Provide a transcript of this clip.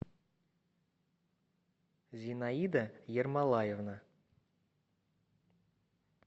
зинаида ермолаевна